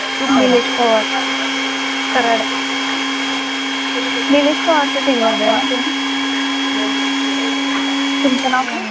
तो बघ निलेश पवार, निलेश पवारच्या team मध्ये आहे ना तुम्ही तुमचं नाव काय